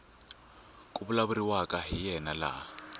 ku vulavuriwaka hi yena laha